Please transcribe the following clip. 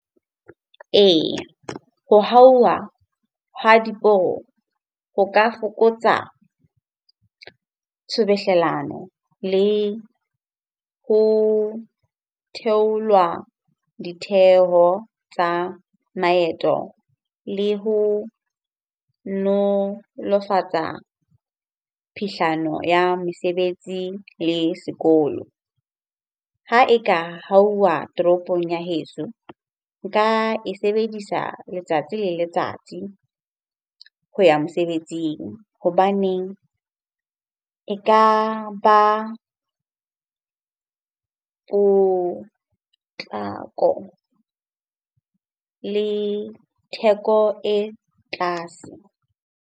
Eya, ho hauwa ha diporo ho ka fokotsa tshubuhlellano le ho theolwa ditheho tsa maeto, le ho nolofatsa phihlano ya mesebetsi le sekolo. Ha e ka hauwa toropong ya heso, nka e sebedisa letsatsi le letsatsi ho ya mosebetsing hobaneng e ka ba potlako le theko e tlase.